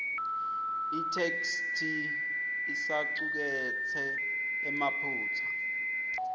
itheksthi isacuketse emaphutsa